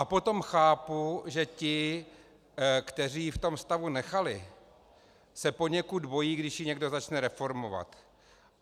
A potom chápu, že ti, kteří ji v tom stavu nechali, se poněkud bojí, když ji někdo začne reformovat.